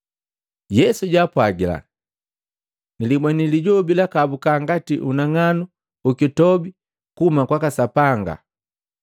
Yesu jaapwajila, “Nilibweni lijobi lakahabuka ngati unang'anu ukitobi kuhuma kunani kwaka Sapanga kwaka Sapanga.